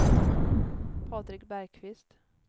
Patrik Bergqvist